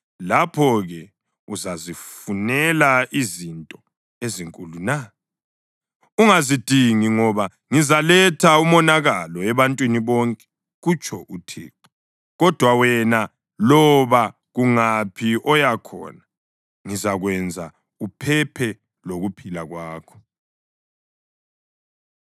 Lapho-ke uzazifunela izinto ezinkulu na? Ungazidingi, ngoba ngizaletha umonakalo ebantwini bonke, kutsho uThixo, kodwa wena loba kungaphi oya khona ngizakwenza uphephe lokuphila kwakho.’ ”